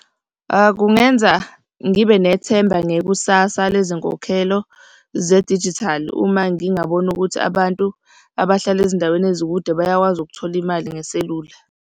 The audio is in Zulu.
Kungenza ngibe nethemba ngekusasa lezinkokhelo zedijithali uma ngingabona ukuthi abantu abahlala ezindaweni ezikude bayakwazi ukuthola imali ngeselula.